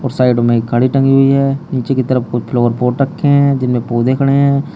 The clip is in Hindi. और साइड में घड़ी टंगी हुई है नीचे की तरफ कुछ फ्लावर पोट रखे हैं जिनमें पौधे खड़े है।